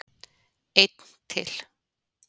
Einn til.